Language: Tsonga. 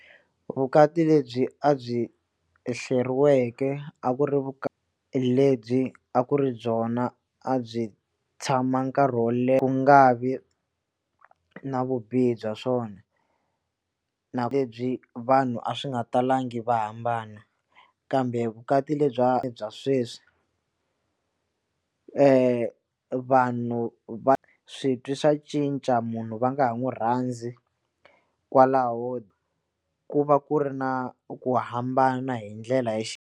Vukati lebyi a byi hleriweke a ku ri lebyi a ku ri byona a byi tshama nkarhi wo leha ku nga vi na vubihi bya swona na lebyi vanhu a swi nga talangi va hambana kambe vukati lebyi bya sweswi vanhu va switwi swa cinca munhu va nga ha n'wi rhandzi kwalaho ku va ku ri na ku hambana hi ndlela ya .